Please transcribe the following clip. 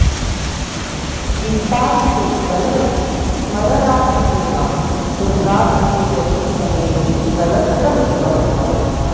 वित्ताधिपे बलवति स्मरराशिपे वा तुङ्गादिगे यदि समेति कलत्रमेकम्